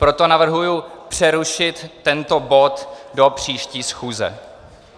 Proto navrhuji přerušit tento bod do příští schůze.